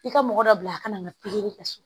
I ka mɔgɔ dɔ bila a kana na pikiri kɛ so